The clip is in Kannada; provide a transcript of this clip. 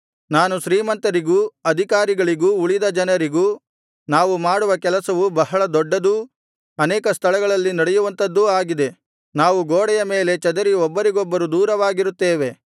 ನಾನು ಶ್ರೀಮಂತರಿಗೂ ಅಧಿಕಾರಿಗಳಿಗೂ ಉಳಿದ ಜನರಿಗೂ ನಾವು ಮಾಡುವ ಕೆಲಸವು ಬಹಳ ದೊಡ್ಡದೂ ಅನೇಕ ಸ್ಥಳಗಳಲ್ಲಿ ನಡೆಯುವಂಥದ್ದೂ ಆಗಿದೆ ನಾವು ಗೋಡೆಯ ಮೇಲೆ ಚದರಿ ಒಬ್ಬರಿಗೊಬ್ಬರು ದೂರವಾಗಿರುತ್ತೇವೆ